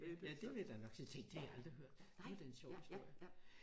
Ja det vil da nok sige tænk det har jeg aldrig hørt det var da en sjov historie